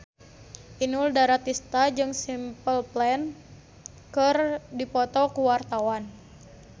Inul Daratista jeung Simple Plan keur dipoto ku wartawan